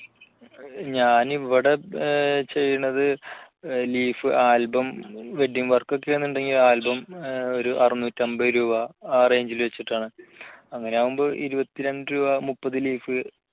ഞാനിവിടെ ചെയ്യണത് leaf album wedding work ഒക്കെആന്നു ണ്ടെങ്കിൽ album ഒരറിനൂറ്റമ്പത് രൂപ ആ range ൽ വെച്ചിട്ടാണ് അങ്ങനെയാവുമ്പോൾ ഇരുപത്തി രണ്ട് രൂപ മുപ്പത് leaf